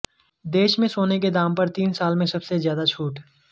देश में सोने के दाम पर तीन साल में सबसे ज्यादा छूट